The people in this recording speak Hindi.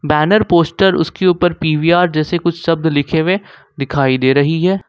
बैनर पोस्टर उसके ऊपर पी_वी_आर जैसे शब्द लिखे हुए दिखाई दे रही है।